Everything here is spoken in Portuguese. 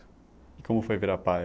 E como foi virar pai?